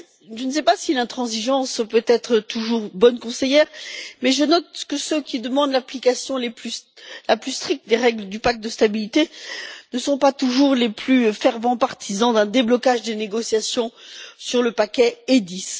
Je ne sais pas si l'intransigeance peut être toujours bonne conseillère, mais je note que ceux qui demandent l'application la plus stricte des règles du pacte de stabilité ne sont pas toujours les plus fervents partisans d'un déblocage des négociations sur le paquet EDIS.